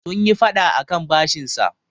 sun yi fada akan bashinsa